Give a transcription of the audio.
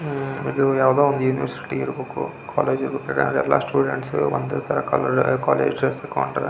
ಹಿಂದ್ ಅಷ್ಠ ದೋಡದೊಂದ ಬಿಲ್ಡಿಂಗ್ ಐತಿ ಆ ಬಿಲ್ಡಿಂಗ್ ಯೂನಿವರ್ಸಿಟಿ ಕ ಯೂನಿವರ್ಸಿಟಿ ಕಟಡದ--